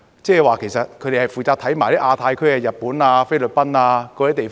即是說，其實他們亦負責審視亞太區、日本、菲律賓等地方。